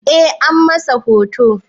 Eh, an masa hoton